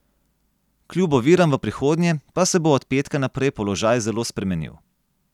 Kljub oviram v prihodnje pa se bo od petka naprej položaj zelo spremenil.